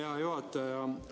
Hea juhataja!